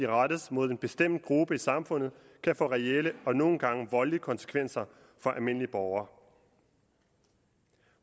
rettes mod en bestemt gruppe i samfundet kan få reelle og nogle gange voldelige konsekvenser for almindelige borgere